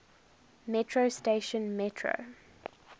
metro station metro